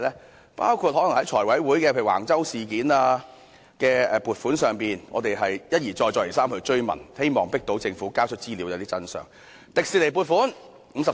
當中包括財務委員會審議橫洲發展的撥款申請時，我們一而再，再而三追問，希望迫使政府交出資料，得知真相。